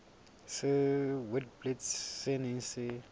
sa witblits se neng se